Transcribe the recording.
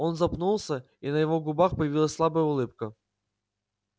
он запнулся и на его губах появилась слабая улыбка